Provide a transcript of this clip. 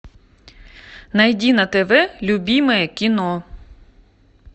найди на тв любимое кино